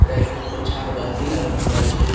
উপরে একটা বড় ঝাড়বাতি লাগানো আছে ।